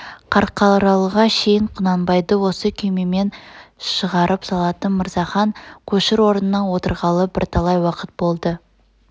қарқаралыға шейн құнанбайды осы күймемен шығарып салатын мырзахан көшір орнына отырғалы бірталай уақыт болды